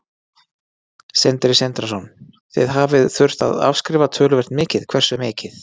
Sindri Sindrason: Þið hafið þurft að afskrifa töluvert mikið, hversu mikið?